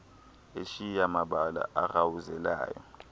eshiya mabala arhawuzelayo